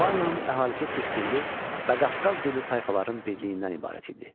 Albaniyanın əhalisi türk dilli, bə Qafqaz dilli tayfaların birliyindən ibarət idi.